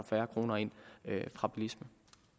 færre ind fra bilisme